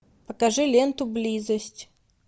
покажи ленту близость